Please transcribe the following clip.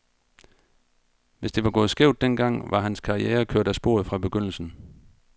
Hvis det var gået skævt den gang, var hans karriere kørt af sporet fra begyndelsen.